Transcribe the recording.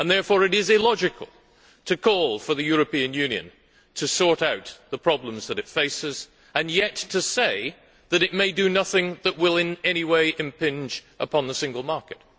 Therefore, it is illogical to call for the European Union to sort out the problems which it faces and yet to say that it may do nothing that will in anyway impinge upon the single market.